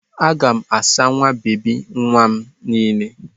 Aga m asa nwa bebi nwa m niile.